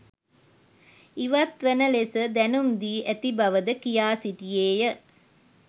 ඉවත් වන ලෙස දැනුම් දී ඇති බව ද කියා සිටියේය.